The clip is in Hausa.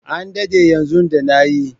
An dade yanzu da na yi.